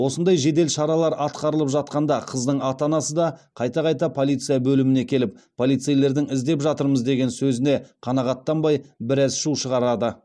осындай жедел шаралар атқарылып жатқанда қыздың ата анасы да қайта қайта полиция бөліміне келіп полицейлердің іздеп жатырмыз деген сөзіне қанағаттанбай біраз шу шығарады